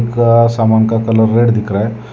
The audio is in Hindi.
सामान का कलर रेड दिख रहा है।